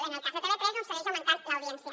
en el cas de tv3 doncs segueix augmentant l’audiència